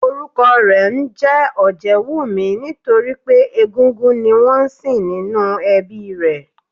Orúkọ rè ńjé Òjéwùmí nítorípé egúngún ni wón nsìn nínú ẹbí i rè